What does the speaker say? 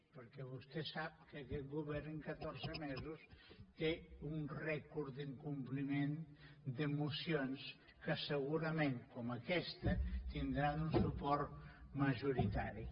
perquè vostè sap que aquest govern en catorze mesos té un rècord d’incompliment de mocions que segurament com aquesta tindran un suport majoritari